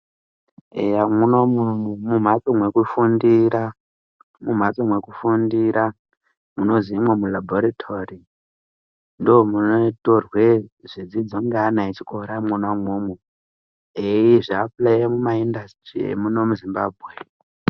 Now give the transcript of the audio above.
Eya mwunomu mu mhatso mweku mu mhatso mweku fundira munozi imwo mulabhoritori ndo muno torwe zvidzidzo nge ana echikora mwona imwomwo eyizvi apulaye muma indasitiri emuno mu Zimbabwe.